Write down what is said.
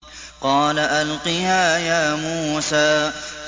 قَالَ أَلْقِهَا يَا مُوسَىٰ